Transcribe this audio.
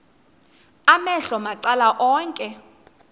amehlo macala onke